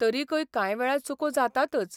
तरिकय कांय वेळा चुको जातातच.